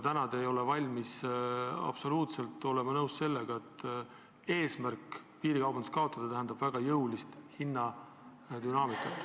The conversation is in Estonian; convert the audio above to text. Täna te ei ole absoluutselt valmis nõustuma, et piirikaubanduse kaotamine tähendab väga jõulist hinnadünaamikat.